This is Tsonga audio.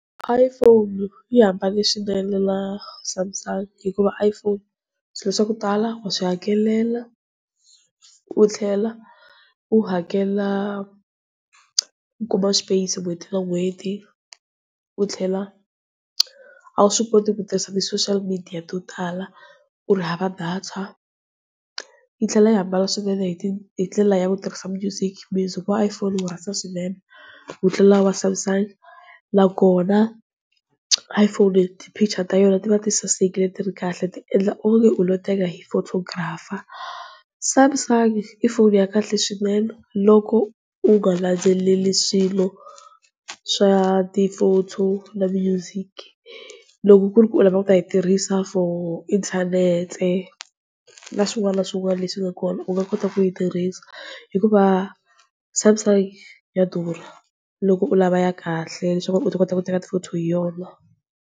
Iphone yi hambanile swinene na Samsung, hikuva Iphone swilo swa ku tala wa swi hakelela, u tlhela u hakela u kuma space n'hweti na n'hweti, u tlhela a wu swi koti ku tirhisa ti-social midiya to tala u ri hava data. Yi tlhela yi hambana swinene hi ndlela ya ku tirhisa music. Music wa Iphone wu rhasa swinene ku tlula ta Samsung, na kona Iphone ti-picture ta yona ti va ti sasekile ti ri kahle ti endla onge u lo teka hi photographer. Samsung i foni ya kahle swinene loko u nga landzeleli swilo swa ti fonto na music loko ku ri ku u lava ku ta yi tirhisa for internet, na swin'wana na swin'wana, leswi nga kona hikuva Samsung ya durha loko u lava ya kahle leswaku u ta kota ku teka ti fonto hi yona.